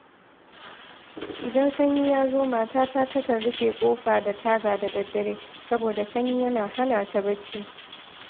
Idan sanyi ya zo matata takan rufe ƙofa da taga da daddare, saboda sanyi yana hana ta bacci